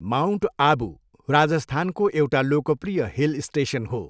Mount Abu राजस्थानको एउटा लोकप्रिय हिल स्टेसन हो।